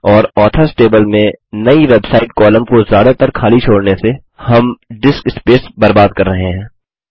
और authors table में नई वेबसाइट कॉलम को ज्यादातर खाली छोड़ने से हम डिस्क स्पेस बर्बाद कर रहे हैं